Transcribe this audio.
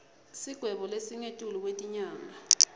sigwebo lesingetulu kwetinyanga